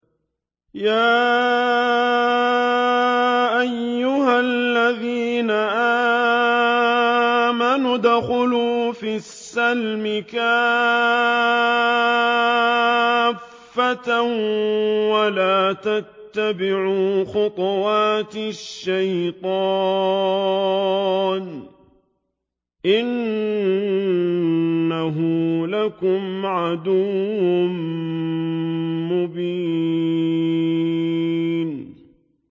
يَا أَيُّهَا الَّذِينَ آمَنُوا ادْخُلُوا فِي السِّلْمِ كَافَّةً وَلَا تَتَّبِعُوا خُطُوَاتِ الشَّيْطَانِ ۚ إِنَّهُ لَكُمْ عَدُوٌّ مُّبِينٌ